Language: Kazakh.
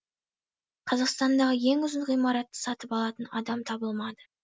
қазақстандағы ең ұзын ғимаратты сатып алатын адам табылмады